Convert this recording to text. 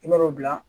I b'a dɔn o bila